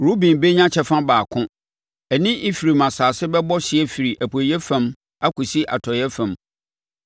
Ruben bɛnya kyɛfa baako; ɛne Efraim asase bɛbɔ hyeɛ firi apueeɛ fam akɔsi atɔeɛ fam.